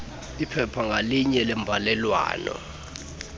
iphepha ngalinye lembalelwano